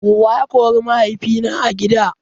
Wa ya kori mahaifina a gida?